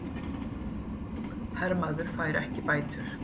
Hermaður fær ekki bætur